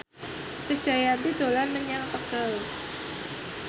Krisdayanti dolan menyang Tegal